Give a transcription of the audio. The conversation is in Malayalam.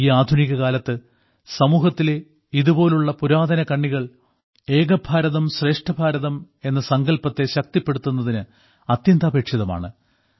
ഈ ആധുനികകാലത്ത് സമൂഹത്തിലെ ഇതുപോലുള്ള പുരാതന കണ്ണികൾ ഏകഭാരതം ശ്രേഷ്ഠ ഭാരതം എന്ന സങ്കല്പത്തെ ശക്തിപ്പെടുത്തുന്നതിന് അത്യന്താപേക്ഷിതമാ ണ്